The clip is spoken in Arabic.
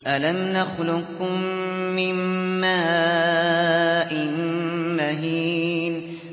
أَلَمْ نَخْلُقكُّم مِّن مَّاءٍ مَّهِينٍ